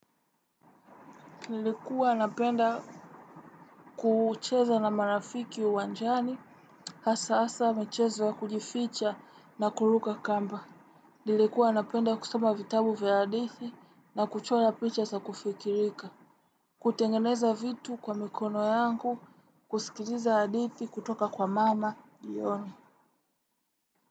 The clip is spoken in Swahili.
Nilikuwa napenda kucheza na marafiki uwanjani, hasa hasa michezo ya kujificha na kuruka kamba. Nilikuwa napenda kusoma vitabu vya hadithi na kuchora picha za kufikirika. Kutengeneza vitu kwa mikono yangu kusikiliza hadithi kutoka kwa mama jioni.